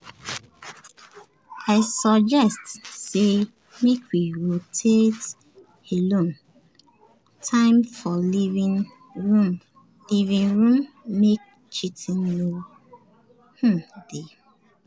i suggest say make we rotate alone time for living room living room make cheating no um dey um